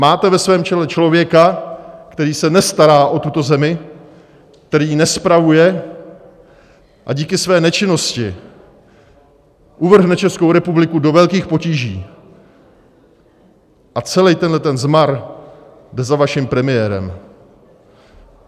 Máte ve svém čele člověka, který se nestará o tuto zemi, který ji nespravuje a díky své nečinnosti uvrhne Českou republiku do velkých potíží, a celý tenhle zmar jde na vaším premiérem.